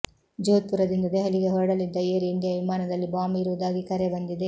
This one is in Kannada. ಜೋಧ್ಪುರದಿಂದ ದೆಹಲಿಗೆ ಹೊರಡಲಿದ್ದ ಏರ್ ಇಂಡಿಯಾ ವಿಮಾನದಲ್ಲಿ ಬಾಂಬ್ ಇರುವುದಾಗಿ ಕರೆ ಬಂದಿದೆ